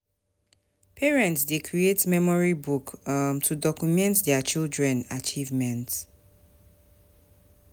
Parents dey create memory books um to document dier pikin achievement.